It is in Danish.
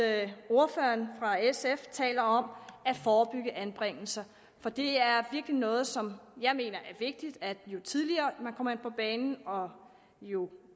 at ordføreren fra sf taler om at forebygge anbringelser for det er virkelig noget som jeg mener er vigtigt jo tidligere man kommer på banen og jo